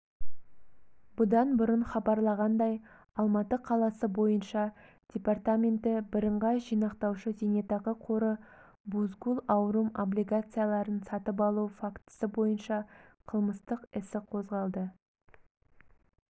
бұдан бұрын хабарланғандай алматы қаласы бойынша департаменті бірыңғай жинақтаушы зайнетақы қоры бузгул аурум облигацияларын сатып алу фактісі бойынша қылмыстық іс қозғады